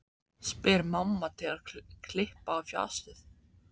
spyr mamma til að klippa á fjasið.